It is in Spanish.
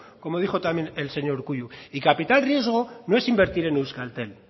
como dijo también el señor urkullu el capital riesgo no es invertir en euskaltel